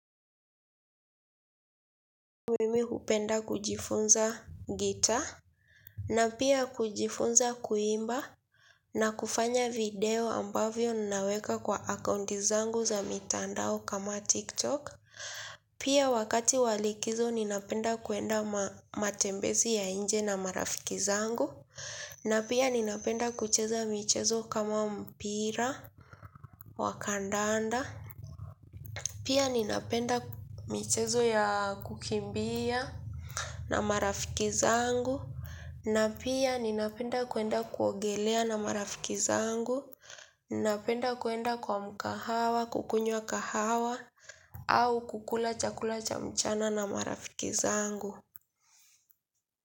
Mimi hupenda kujifunza guitar na pia kujifunza kuimba na kufanya video ambavyo ninaweka kwa akaunti zangu za mitandao kama tiktok pia wakati wa likizo ninapenda kwenda matembezi ya nje na marafiki zangu na pia ninapenda kucheza michezo kama mpira wakandaanda pia ninapenda michezo ya kukimbia na marafiki zangu. Na pia ninapenda kwenda kuogelea na marafiki zangu. Ninapenda kwenda kwa mgahawa, kukunywa kahawa, au kukula chakula cha mchana na marafiki zangu.